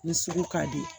Ni sugu ka di